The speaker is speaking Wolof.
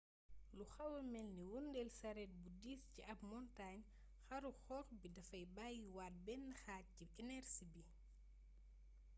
lu xawa melni wëndeel sareet bu diis ci ab montaañ xaru xóox bi dafay bayyi waat benn xaaj ci enersi bi